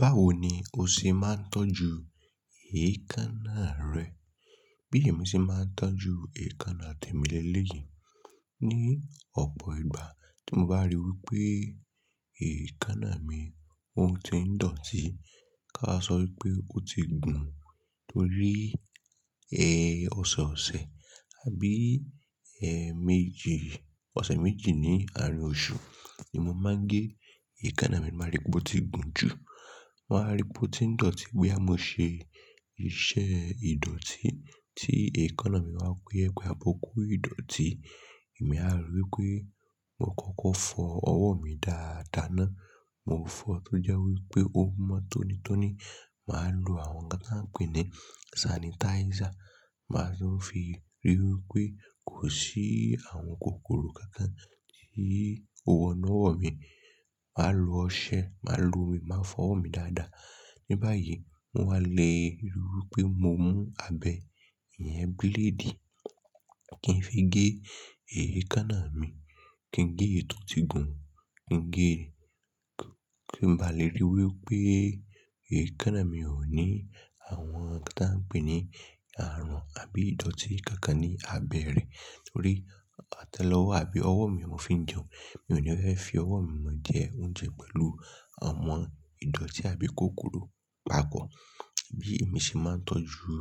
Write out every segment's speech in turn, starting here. Báwo ni o ṣe máa ń tọ́jú èékánná rẹ? Bí èmi ṣe máa ń tọ́jú èékánná tèmi léyìí, ní ọ̀pọ̀ ìgbà tí mo bá ríi wí pé èékánná mi ò tí ń dọ̀tí, ká a sọ wí pé ó ti gùn Torí, ọ̀sẹ̀ ọ̀sẹ̀ àbí, ẹẹmeji, ọ̀sẹ̀ méjì ní àárín oṣù ni mo máa ń gé èékánná mi. Màá ríi pé ó ti gùn jù. Mo wà ríi pé ó ti dọ̀tí bóyá mo ṣe iṣẹ́ ìdọ̀tí tí èékánná mi wá kó iyẹ̀pẹ̀ àbí ó kó ìdọ̀tí. Èmi a ri wí pé mo kókó fọ ọwọ́ mi dáadáa ná. Mo fọ tó jẹ́ wí pé ó mọ tónítóní. Màá lo àwọn nkan tań pè ní sanitizer. Màá lo fi ríi wí pé kò sí àwọn kòkòrò kankan tí ó wọnú ọwọ́ mi. Màá lo ọṣẹ, màá lo omi, màá fọ ọwọ́ mi dáadáa. Ní báyìí, mo wá le ríi wí pé mo mú abẹ́ ìyẹn bíléèdì kí n fi gé èékánná mi. Kí n gé èyí tò tí gùn. Kí n gé-- kí n bá le ríi wí pé èékánná mi ò ní àwọn nkan tí a ń pè ní àrùn àbí ìdọ̀tí kankan ní abẹ́ rẹ̀. Torí àtẹ́lẹwọ́ àbí ọwọ́ mi mọ̀ fi ń jẹun. Èmi ò ní fẹ́ fi ọwọ́ mi mọ jẹ oúnjẹ pẹ̀lú àwọn ìdọ̀tí àbí kòkòrò papọ̀ Bí èmi ṣe máa ń tọ́jú,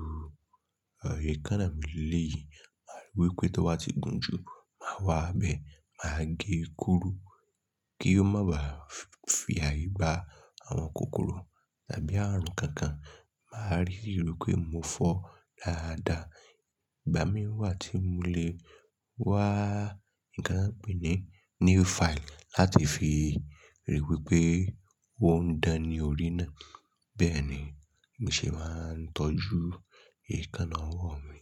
èékánná mi lèléyìí, màá rí wípé tí ó bá ti gùn jù, màá wá abẹ́, màá gé e kúrú kí ó má ba fi ààyè gba àwọn kòkòrò àbí àrùn kankan. Màá ríi ríi wí pé mo fọ dáadáa. Ìgbà mìí wá tí mo lè wá nǹkan tí a ń pè ní nail file láti fi ríi wí pé wọ́n ń dání orí náà. Bẹ́ẹ̀ ni èmi ṣe máa ń tọ́jú èékánná ọwọ́ mi.